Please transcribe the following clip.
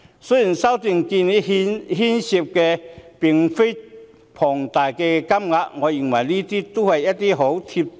雖然修訂建議涉及的金額不多，但我認為這些建議均很"貼地"。